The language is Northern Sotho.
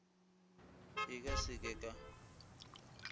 e ka se ke ka